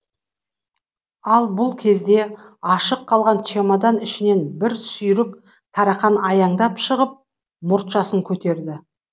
ал бұл кезде ашық қалған чемодан ішінен бір сүйрік тарақан аяңдап шығып мұртшасын көтерді